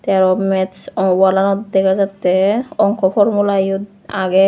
te arow mats ah walanot dega jatte onko formula eyot agey.